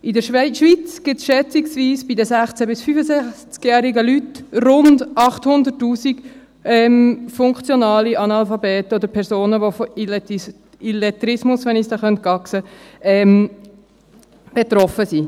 In der Schweiz gibt es bei den 16- bis 65-jährigen Leuten rund 800 000 funktionale Analphabeten oder Personen, die von Illettrismus betroffen sind.